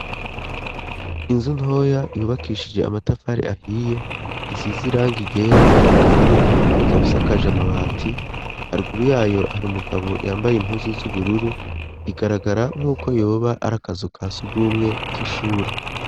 Inzu ntoya ihubakishije amatafari ahiye isiz iranga ryera n'iry'ubururu ikaba isakaja amabati harguru yayo hari umugabo yambaye impuzu z'ubururu igaragara nk'uko yehoba arakazu ka sugumwe k'ishure.